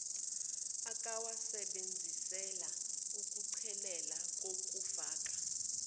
akawasebenzisela ukuchelelela ngokufaka